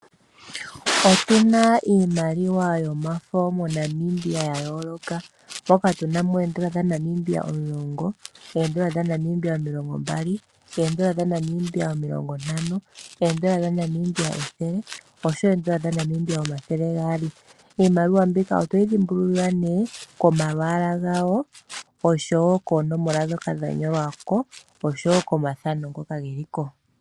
Otuna iimaliwa yomafo moNamibia ya yooloka moka tuna mo oondola dha Namibia omulongo, ondola dha Namibia omilongo mbali, oondola dhaNamibia omilongo ntano, oondola dhaNamibia ethele, osho wo oondola dha Namibia omathele gaali. Iimaliwa mbika otoyi dhimbululilwa ne komalwaala gawo osho wo koonomola dhoka dha nyolwako osho wo komathano ngoka geli ko.